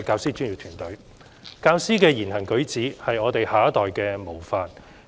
主席，教師的言行舉止的確是下一代的模範。